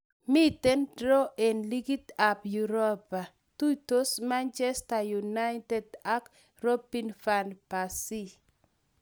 Miten draw en ligit ap uropa. tuitos manchester united ag robin van persie